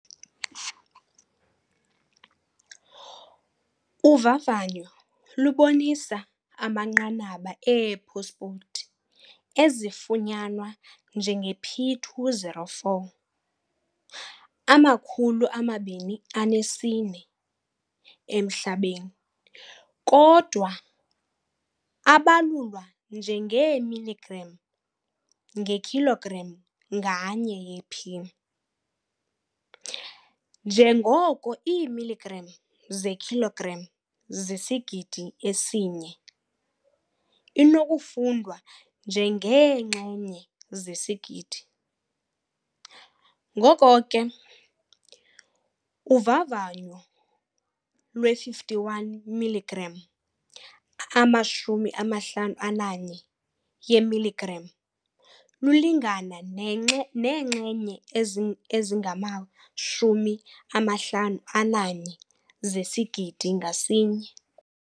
Uvavanyo lubonisa amanqanaba ee-phosphate ezifunyanwa njenge-P2O4 emhlabeni kodwa abalulwa njengeemilligram ngekhilogram nganye ye-P. Njengoko iimilligram zekhilogram zisisigidi esi-1 inokufundwa njengeenxenye zesigidi. Ngoko ke, uvavanyo lwe-51 mg lulingana neenxenye eziyi-51 zesigidi ngasinye.